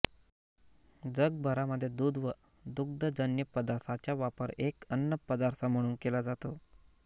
जगभरामधे दूध व दुग्धजन्य पदार्थांचा वापर एक अन्नपदार्थ म्हणून केला जातो